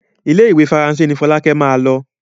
Ile-iwe Faranse ní Folake má ló.